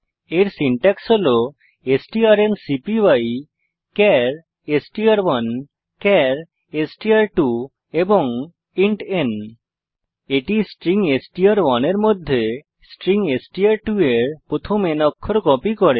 এর সিনট্যাক্স হল strncpyচার এসটিআর1 চার এসটিআর2 ইন্ট ন এটি স্ট্রিং এসটিআর1 এর মধ্যে স্ট্রিং এসটিআর2 এর প্রথম n অক্ষর কপি করে